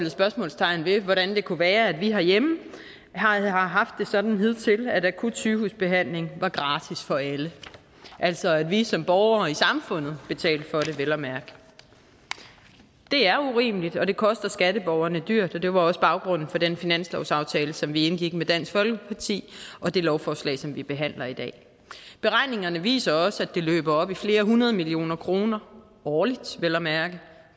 spørgsmålstegn ved hvordan det kunne være at vi herhjemme har haft det sådan hidtil at akut sygehusbehandling var gratis for alle altså at vi som borgere i samfundet betalte for det vel at mærke det er urimeligt og det koster skatteborgerne dyrt og det var også baggrunden for den finanslovsaftale som vi indgik med dansk folkeparti og det lovforslag som vi behandler i dag beregningerne viser også at det løber op i flere hundrede millioner kroner årligt vel at mærke